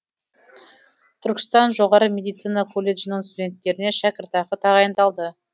түркістан жоғары медицина колледжінің студенттеріне шәкіртақы тағайындалды